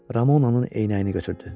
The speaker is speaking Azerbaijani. Ramonanın eynəyini götürdü.